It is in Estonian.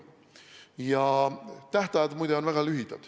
Ja tähtajad, muide, on väga lühikesed.